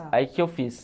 Aí o que eu fiz?